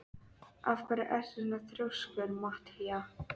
Af hverju ertu svona þrjóskur, Matthía?